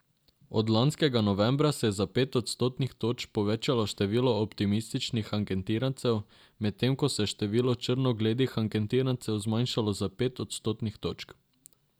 Od lanskega novembra se je za pet odstotnih točk povečalo število optimističnih anketirancev, medtem ko se je število črnogledih anketirancev zmanjšalo za pet odstotnih točk.